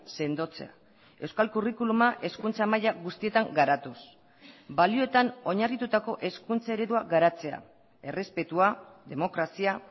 sendotzea euskal curriculuma hezkuntza maila guztietan garatuz balioetan oinarritutako hezkuntza eredua garatzea errespetua demokrazia